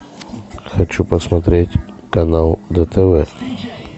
хочу посмотреть канал дтв